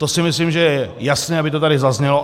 To si myslím, že je jasné, aby to tady zaznělo.